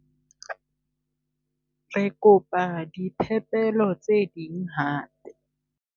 Re kopa diphepelo tse ding hape.